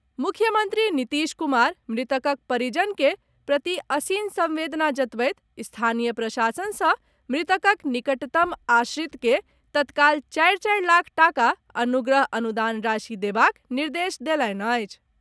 मुख्यमन्त्री नीतीश कुमार मृतकक परिजन के प्रति असीम संवेदना जतबैत स्थानीय प्रशासनसँ मृतकक निकटतम आश्रित के तत्काल चारि चारि लाख टाका अनुग्रह अनुदान राशि देबाक निर्देश देलनि अछि।